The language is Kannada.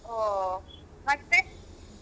ಓ ಮತ್ತೇ.